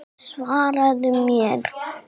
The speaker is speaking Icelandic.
Svaraðu mér.